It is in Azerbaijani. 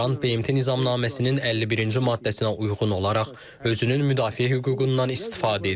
İran BMT Nizamnaməsinin 51-ci maddəsinə uyğun olaraq özünün müdafiə hüququndan istifadə edir.